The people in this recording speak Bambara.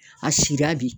A sira bi